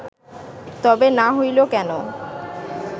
তবে না হইল কেন